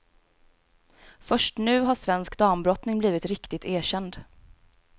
Först nu har svensk dambrottning blivit riktigt erkänd.